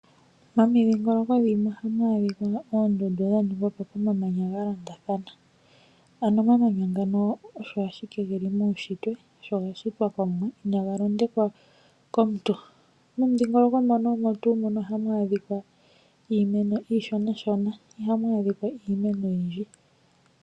Momidhingoloko dhimwe oha mu adhika oondundu dha ningwapo komamanya ga londathana, ano omamanya ngano osho ashike ge li muushitwe, osho ga shitwa komuwa ina ga londekwa komuntu. Momudhingoloko mono omo tuu mono oha mu adhika iimeno iishonashona iha mu adhika iimeno oyindji.